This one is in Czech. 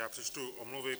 Já přečtu omluvy.